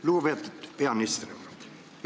Lugupeetud peaminister!